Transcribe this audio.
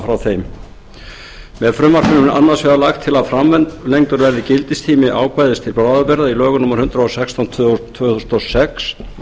frá þeim með frumvarpinu er annars vegar lagt til að framlengdur verði gildistími ákvæðis til bráðabirgða eins í lögum númer hundrað og sextán tvö þúsund og sex